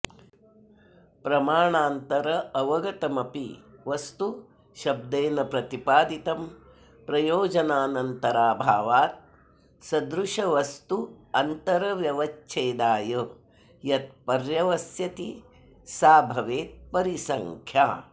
प्रमाणान्तरावगतमपि वस्तु शब्देन प्रतिपादितं प्रयोजनान्तराभावात् सदृशवस्त्वन्तरव्यवच्छेदाय यत् पर्यवस्यति सा भवेत्परिसंख्या